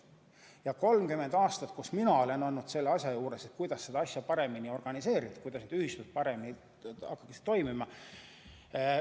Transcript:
Mina olen 30 aastat olnud selle asja juures, kuidas seda paremini organiseerida, kuidas ühistud paremini toimima panna.